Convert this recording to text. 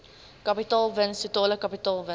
kapitaalwins totale kapitaalwins